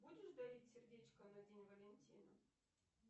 будешь дарить сердечко на день валентина